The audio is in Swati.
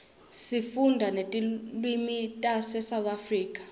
sifunda netilwimitase south africa